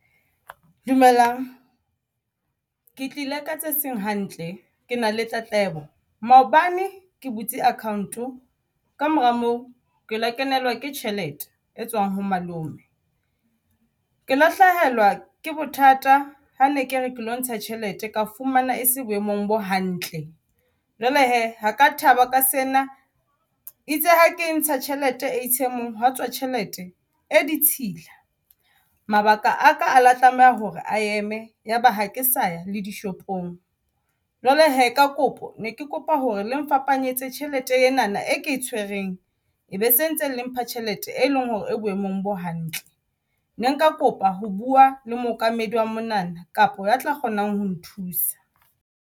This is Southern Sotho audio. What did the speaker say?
Dumelang, ke tlile ka tse seng hantle ke na le tletlebo maobane ke butse account-o ka mora moo ke la kenelwa ke tjhelete e tswang ho malome, ke la hlahelwa ke bothata. Ha ne ke re ke lo ntsha tjhelete ka fumana e se boemong bo hantle jwale hee ha ka thaba ka sena itse ha ke ntsha tjhelete A_T_M-ong ha tswa tjhelete e ditshila. Mabaka aka a la tlameha hore a eme yaba ha ke sa ya le dishopong jwale hee ka kopo ne ke kopa hore le ngfapanyetsa tjhelete enana e ke e tshwereng be se ntse le mpha tjhelete, e leng hore e boemong bo hantle. Ne nka kopa ho bua le mookamedi wa monana, kapa ya tla kgonang ho nthusa.